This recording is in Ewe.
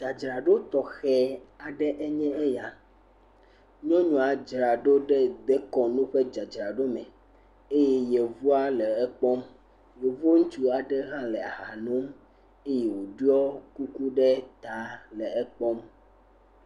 Dzadzraɖo tɔxɛ aɖe enye ya, nyɔnua dzra ɖo ɖe dekɔnu dzadzraɖo me, eye yevu ŋutsua le ekpɔm, yevu ŋutsu aɖe hã le aha nom eye woɖɔ kuku ɖe ta le ekpɔm.